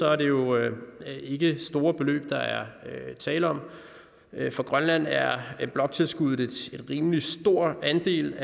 er det jo ikke store beløb der er tale om for grønland er bloktilskuddet en rimelig stor andel